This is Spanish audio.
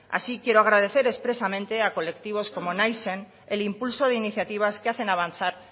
así quiero agradecer expresamente a colectivos como naizen el impulso de iniciativas que hacen avanzar